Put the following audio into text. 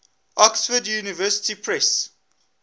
oxford university press